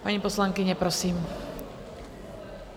Paní poslankyně, prosím.